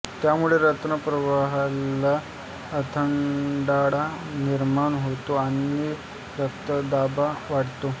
त्यामुळे रक्तप्रवाहाला अडथळा निर्माण होतो आणि रक्तदाब वाढतो